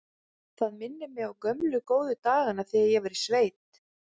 Það minnir mig á gömlu, góðu dagana þegar ég var í sveit.